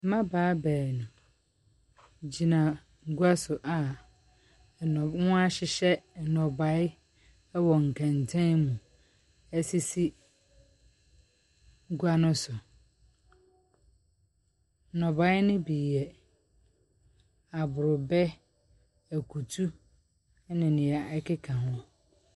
Mmabaawa beenu gyina gua so a nnɔ wɔahyehyɛ nnɔbae wɔ nkɛntɛn mu asisi gua ne so. Nnɔbae ne bi yɛ abrobɛ, akutu ne nea ɛkeka ho.